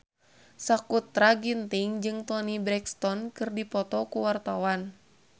Sakutra Ginting jeung Toni Brexton keur dipoto ku wartawan